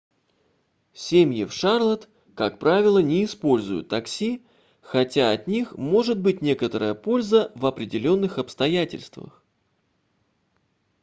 семьи в шарлотт как правило не используют такси хотя от них может быть некоторая польза в определённых обстоятельствах